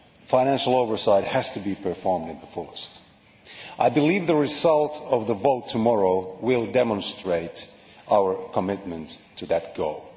Financial oversight has to be performed to the fullest extent. I believe the result of the vote tomorrow will demonstrate our commitment to that goal.